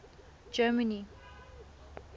germany